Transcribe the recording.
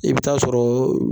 I bɛ taa sɔrɔ